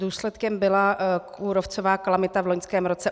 Důsledkem byla kůrovcová kalamita v loňském roce.